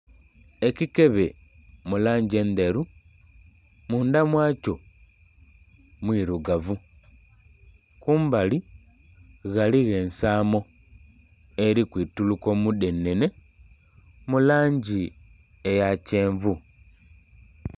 Ekikebe mu langi endheru mundha mwa kyo mwirugavu, kumbali ghaligho ensaamo eri kwituruka omudhenene mu langi eya kyenvu.